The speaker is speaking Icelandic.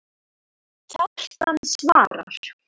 Kjartan svarar